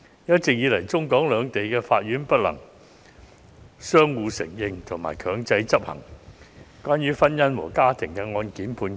一直以來，中、港兩地法院不能相互承認和強制執行關於跨境婚姻和中港家庭案件的判決。